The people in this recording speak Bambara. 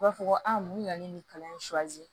U b'a fɔ ko a mun nana ni nin kalan in